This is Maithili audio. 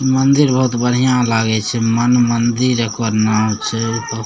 मंदिर बहुत बढ़िया लागे छै मनमंदिर एकर नाम छै।